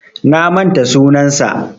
Na manta sunansa.